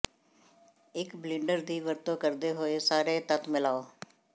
ਇੱਕ ਬਲਿੰਡਰ ਦੀ ਵਰਤੋਂ ਕਰਦੇ ਹੋਏ ਸਾਰੇ ਤੱਤ ਮਿਲਾਓ